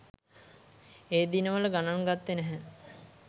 ඒ දිනවල ගණන් ගත්තේ නැහැ.